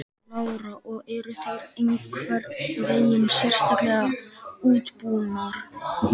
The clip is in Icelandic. Lára: Og eru þær einhvern veginn sérstaklega útbúnar?